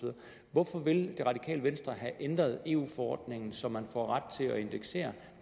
hvorfor vil det radikale venstre have ændret eu forordningen så man får ret til at indeksere